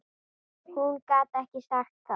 Hún gat ekki sagt það.